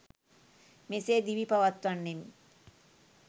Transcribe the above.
මෙසේ දිවි පවත්වන්නෙම්